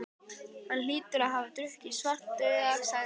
Hann hlýtur að hafa drukkið Svartadauða, sagði Eiríkur.